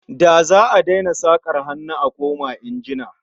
Za'a daina sakar hannu a koma injina